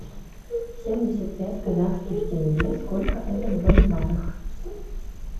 семьдесят пять казахских тенге сколько это в боливарах